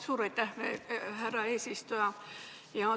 Suur aitäh, härra eesistuja!